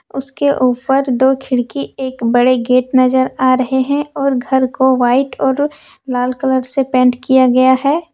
उसके ऊपर दो खिड़की एक बड़े गेट नजर आ रहे हैं और घर को व्हाइट और लाल कलर से पेंट किया गया है।